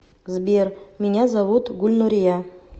сбер меня зовут гульнурия